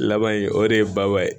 Laban in o de ye baba ye